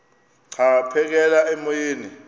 xa aphekela emoyeni